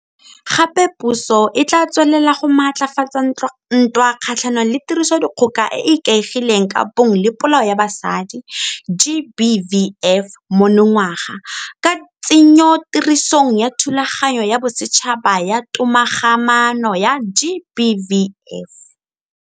Gape puso e tla tswelela go maatlafatsa ntwa kgatlhanong le Tirisodikgoka e e Ikaegileng ka Bong le Polao ya Basadi GBVF monongwaga, ka tsenyotirisong ya Thulaganyo ya Bosetšhaba ya Togamaano ya GBVF.